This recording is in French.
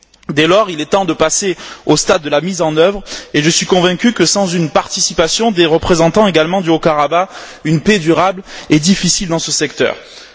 Dès lors, il est temps de passer au stade de la mise en œuvre et je suis convaincu que, sans une participation des représentants du Haut Karabagh, une paix durable est difficile dans cette région.